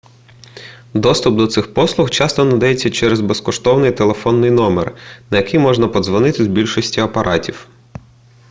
доступ до цих послуг часто надається через безкоштовний телефонний номер на який можна подзвонити з більшості апаратів